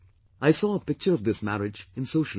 I saw a picture of this marriage in social media